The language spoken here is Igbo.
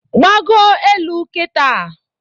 Gbago elu Kita